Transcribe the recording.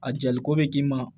A jaliko bɛ k'i ma